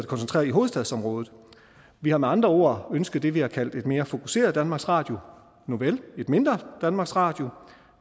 koncentreret i hovedstadsområdet vi har med andre ord ønsket det vi har kaldt et mere fokuseret danmarks radio nuvel det et mindre danmarks radio